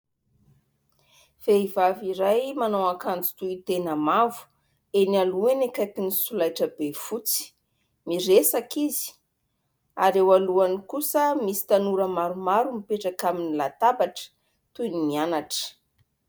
Vehivavy iray manao akanjo tohy tena mavo, eny aloha eny akaiky ny solaitrabe fotsy, miresaka izy ary eo alohany kosa misy tanora maromaro mipetraka amin'ny latabatra toin'ny mianatra.